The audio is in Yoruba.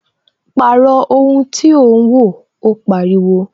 Pàrọ̀ ohun tí ò ń wo! Ó pariwo